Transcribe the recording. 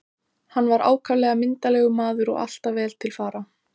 Hann var ákaflega myndarlegur maður og alltaf vel til fara.